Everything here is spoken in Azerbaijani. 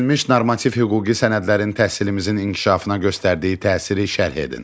Verilmiş normativ hüquqi sənədlərin təhsilimizin inkişafına göstərdiyi təsiri şərh edin.